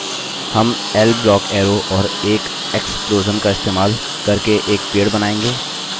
हम L block arrow और एक explosion का इस्तेमाल करके एक पेड़ बनायेंगे